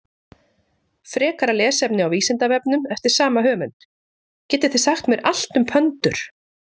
Frekara lesefni á Vísindavefnum eftir sama höfund: Getið þið sagt mér allt um pöndur?